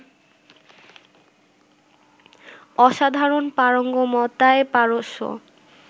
অসাধারণ পারঙ্গমতায় পারস্য